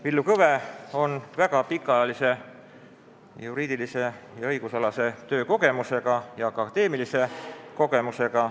Villu Kõve on väga pikaajalise juriidilise ja õigusalase töökogemusega, samuti akadeemilise kogemusega.